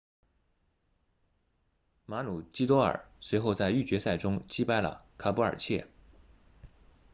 马鲁基多尔 maroochydore 随后在预决赛中击败了卡布尔彻 caboolture